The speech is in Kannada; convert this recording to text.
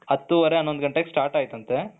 ಹತು ಹೊರೆ ಹನೊಂದು ಗಂಟೆಗೆ start ಆಯ್ತಂತೆ.